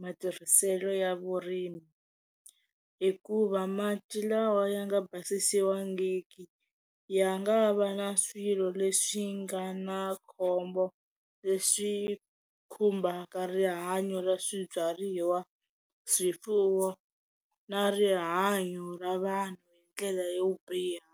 matirhiselo ya vurimi hikuva mati lawa ya nga basisiwangiki ya nga va na swilo leswi nga na khombo leswi khumbhaka rihanyo ra swibyariwa, swifuwo na rihanyo ra vanhu hi ndlela yo biha.